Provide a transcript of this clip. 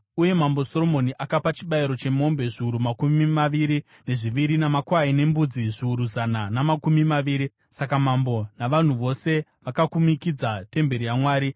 Uye Mambo Soromoni akapa chibayiro chemombe zviuru makumi maviri nezviviri namakwai nembudzi zviuru zana namakumi maviri. Saka mambo navanhu vose vakakumikidza temberi yaMwari.